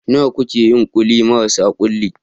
Nawa kuke yin ƙulli marasa kulli?